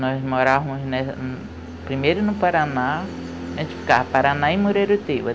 Nós morávamos primeiro no Paraná, a gente ficava Paraná e Moreiro Teiba.